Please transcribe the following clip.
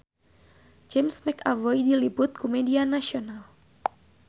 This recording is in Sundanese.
James McAvoy diliput ku media nasional